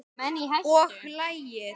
Og lagið?